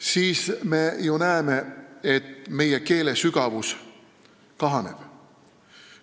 –, siis me ju näeme, et meie keele sügavus kahaneb.